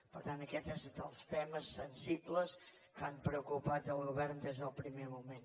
per tant aquest és dels temes sensibles que han preocupat el govern des del primer moment